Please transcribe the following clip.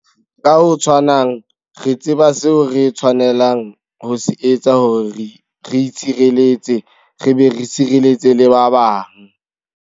Ka ho tshwanang, re tseba seo re tshwanelang ho se etsa hore re itshireletse re be re sireletse le ba bang.